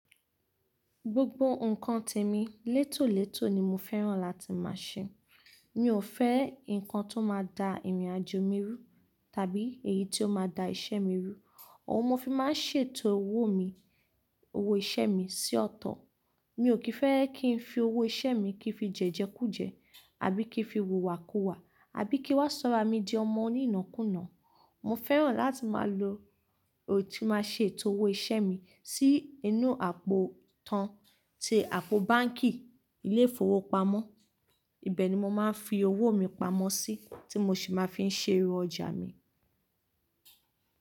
Gbogbo nnkan tèmi létòlétò ni mo féràn láti máa ṣe. Mi ò fẹ́ nnkan tó máa da ìrìnàjò mi rú tàbí èyí tí ó máa da iṣẹ́ mi rú. Òun mo fi máa ń ṣètò owó mi, owó iṣẹ́ mi sí ọ̀tọ̀. Mi ò kì í fẹ́ kí n fi owó iṣẹ́ mi kí fi jẹ́jẹ kú jẹ, àbí kí n fi wùwà kú wà, àbí kí ó máa sọra mi di ọmọ onínakùnà. Mo féràn láti máa lo, tí máa ṣe ètò owó iṣẹ́ mi sí inú àpò tan tí àpò báńkì, ilé ìfowópamọ́. Ibẹ̀ ni mo máa ń fi owó mi pamọ́ sí tí mo sì máa ń fi ṣe ẹrú ọjà mi.